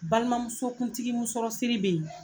Balimamusokuntigi musɔrɔsiri be ye